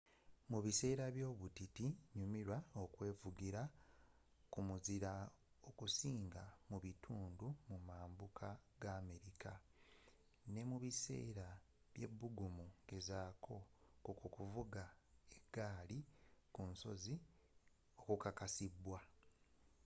mu biseera by'obutiti nyumirwa okwevugira ku muzira okusinga mu mambuka g'america ate ne mubiseera by'ebbugumu gezaako kukuvuga eggaali ku nsozi okukakasiddwa